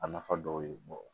A nafa dɔw ye